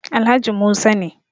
Alhaji Musa ne